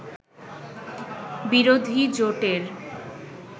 বিরোধী জোটের